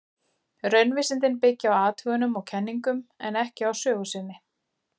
Raunvísindin byggja á athugunum og kenningum, en ekki á sögu sinni.